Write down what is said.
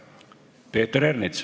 Peeter Ernits.